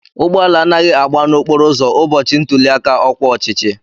Ụgbọala anaghị agba na-okporo ụzọ ụbọchị ntuli aka ọkwa ọchịchị.